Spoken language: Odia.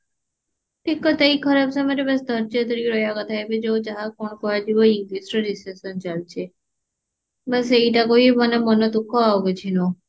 ଠିକ କଥା ଏଇ ଖରାପ ସମୟରେ ବାଶ ଧେଯ ଧରିକି ରହିବା କଥା ଏବେ ଯଉ ଯାହା କଣ କୁହାଯିବ English ରେ recession ଚାଲିଛି ବାଶ ସେଇଟା ପାଇଁ ମାନେ ମନ ଦୁଃଖ ବାଶ ଆଉ କିଛି ନୁହଁ